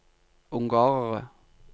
ungarere